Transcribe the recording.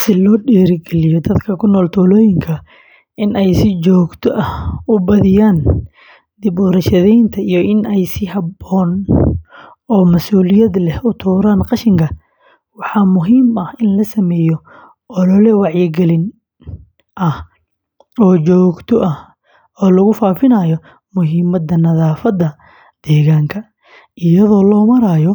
Si loo dhiirrigeliyo dadka ku nool tuulooyinka in ay si joogto ah u badiyaan dib u warshadaynta iyo in ay si habboon oo mas’uuliyad leh u tuuraan qashinka, waxaa muhiim ah in la sameeyo olole wacyigelin ah oo joogto ah oo lagu faafinayo muhiimadda nadaafadda deegaanka, iyadoo loo marayo